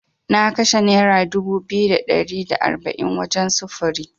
Na kashe Nera dubu biyu da ɗari da arba’in wajen sufuri.